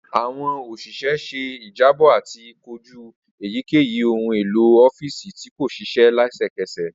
Awọn òṣìṣẹ̀ ṣe ijabọ ati koju eyikeyi ohun elo ọfiisi ti ko ṣiṣẹ lẹsẹkẹsẹ.